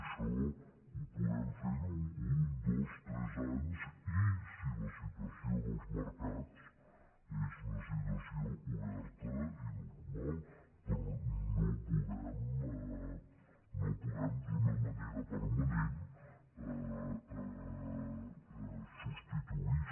això ho podem fer un dos tres anys i si la situació dels mercats és una situació oberta i normal però no ho podem d’una manera permanent substituir